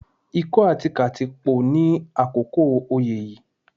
Ikọ́ àti kàtí pò ní àkókò oyé yìí